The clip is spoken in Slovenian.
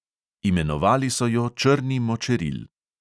Imenovali so jo črni močeril.